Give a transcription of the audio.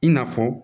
I n'a fɔ